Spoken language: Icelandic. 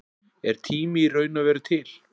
Er tími í raun og veru til?